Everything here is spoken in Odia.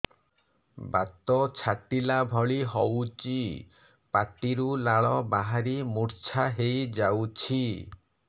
ବାତ ଛାଟିଲା ଭଳି ହଉଚି ପାଟିରୁ ଲାଳ ବାହାରି ମୁର୍ଚ୍ଛା ହେଇଯାଉଛି